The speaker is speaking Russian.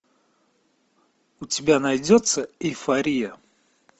у тебя найдется эйфория